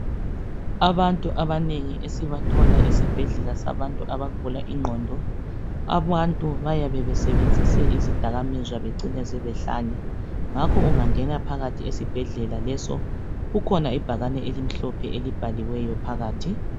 Abantu abanengi esibathola esibhedlela sabantu abagula ingqondo. Abantu bayabe besebenzise izidakamizwa bacine sebehlanya. Ngakho ungangena phakathi esibhedlela leso kukhona ibhakane elimhlophe elibhaliweyo phakathi.